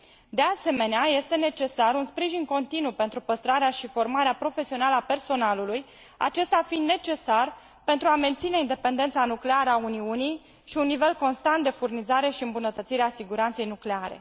De asemenea, este necesar un sprijin continuu pentru păstrarea și formarea profesională a personalului, acesta fiind necesar pentru a menține independența nucleară a Uniunii și un nivel constant de furnizare și îmbunătățire a siguranței nucleare.